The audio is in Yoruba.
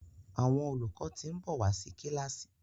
Àwọn olùkọ tin nbọ wá sí kilasi